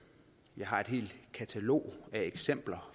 jeg har et helt katalog af eksempler